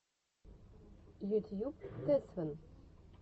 ютьюб тэсфэн